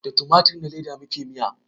Da tumatur na leda muke miya